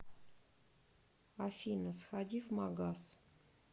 афина сходи в магаз